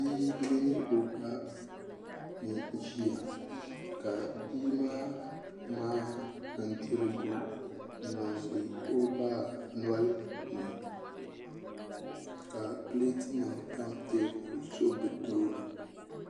Bia mini o ba n ʒiya ka bia maa ŋmaai bindirigu n niŋdi o ba nolini ka pileet nim tam teebuli zuɣu bi tooni